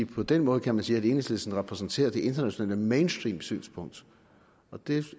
på den måde kan man sige at enhedslisten repræsenterer det internationale mainstreamsynspunkt det